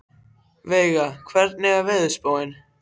Veiga, hvernig er veðurspáin?